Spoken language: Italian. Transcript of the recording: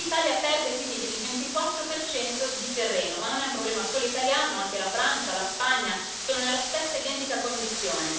E l'Italia perde quindi il 24 di terreno, ma non è un problema solo italiano, anche la Francia, la Spagna sono nella stessa identica condizione.